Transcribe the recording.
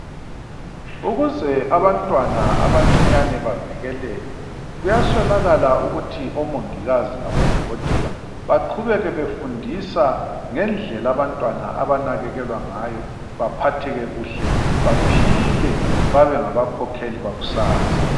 Ukuze abantwana abancinyane bavikeleke kuyaswelakala ukuthi omongikazi labodokotela baqhubeke befundisa ngendlela abantwana abanakekelwa ngayo, baphatheke kuhle, baphile babe ngabakhokheli bakusasa.